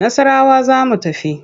Nassarawa za mu tafi.